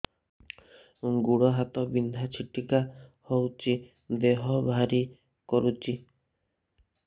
ଗୁଡ଼ ହାତ ବିନ୍ଧା ଛିଟିକା ହଉଚି ଦେହ ଭାରି କରୁଚି